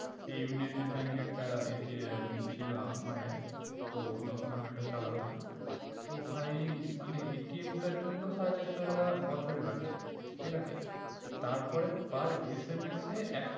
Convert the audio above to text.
এই united bank এ একটা ছিল মায়ের তো তখন আমি ওটা চালাতাম তো ভাই মানে টার জন্য সাড়ে চারশো টাকা বছরে কাটছে ঠিক আছে তার পরে পার SMS এ এক